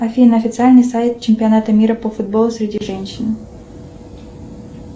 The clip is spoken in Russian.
афина официальный сайт чемпионата мира по футболу среди женщин